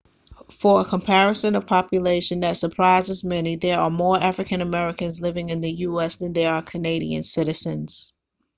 for a comparison of population that surprises many there are more african americans living in the us than there are canadian citizens